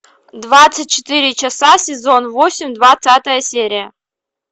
двадцать четыре часа сезон восемь двадцатая серия